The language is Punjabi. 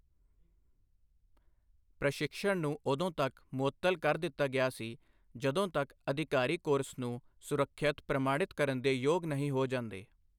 ਪ੍ਰਸ਼ਿਕ੍ਸ਼ਨ ਨੂੰ ਉਦੋਂ ਤੱਕ ਮੁਅੱਤਲ ਕਰ ਦਿੱਤਾ ਗਿਆ ਸੀ ਜਦੋਂ ਤੱਕ ਅਧਿਕਾਰੀ ਕੋਰਸ ਨੂੰ ਸੁਰੱਖਿਅਤ ਪ੍ਰਮਾਣਿਤ ਕਰਨ ਦੇ ਯੋਗ ਨਹੀਂ ਹੋ ਜਾਂਦੇ।